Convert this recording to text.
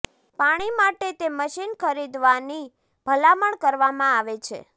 પાણી માટે તે મશીન ખરીદવાની ભલામણ કરવામાં આવે છે